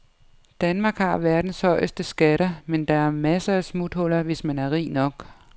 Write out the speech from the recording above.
Danmark har verdens højeste skatter, men der er masser af smuthuller, hvis man er rig nok.